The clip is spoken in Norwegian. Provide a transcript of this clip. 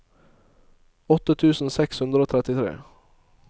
åtte tusen seks hundre og trettitre